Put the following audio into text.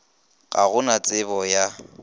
ga go na tsebo ya